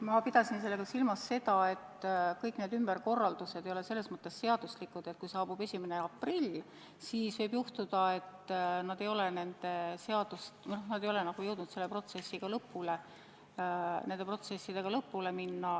Ma pidasin silmas seda, et kõik need ümberkorraldused ei ole selles mõttes ehk seaduslikud, et kui saabub 1. aprill, siis võib juhtuda, et nad ei ole jõudnud selle protsessiga lõpule.